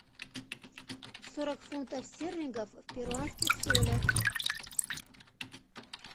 сорок фунтов стерлингов в перуанских солях